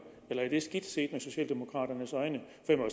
eller er det skidt set med socialdemokraternes øjne